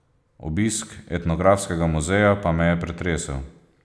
Obisk etnografskega muzeja pa me je pretresel.